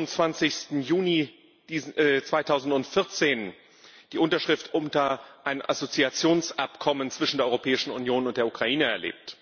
27. Juni 2014 die Unterschrift unter ein Assoziationsabkommen zwischen der Europäischen Union und der Ukraine erlebt.